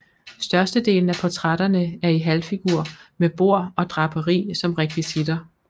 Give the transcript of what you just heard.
Størstedelen af portrætterne er i halvfigur med bord og draperi som rekvisitter